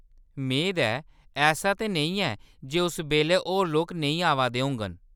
मेद ऐ। ऐसा ते नेईं ऐ जे उस बेल्लै होर लोक नेईं आवा दे होङन।